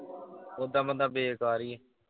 ਉੱਦਾਂ ਬੰਦਾ ਬੇਕਾਰ ਈ।